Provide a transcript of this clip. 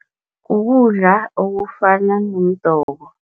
Ukudla okufana nomdoko.